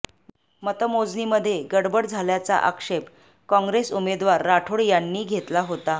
मतमोजणीमध्ये गडबड झाल्याचा आक्षेप काँग्रेस उमेदवार राठोड यांनी घेतला होता